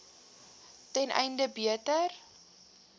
ten einde beter